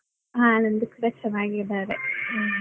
ಹಾ ನಂದು ಕೂಡಾ ಚೆನ್ನಾಗಿದ್ದಾರೆ. .